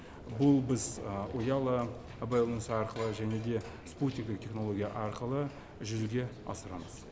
бұл біз ұялы байланыс арқылы және де спутниктік технология арқылы жүзеге асырамыз